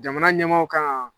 Jamana ɲɛmaw k'an.